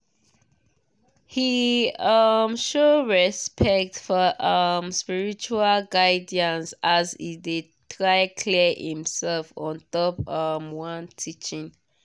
he um show respect for um spiritual guidance as e de try clear himsef ontop um one teaching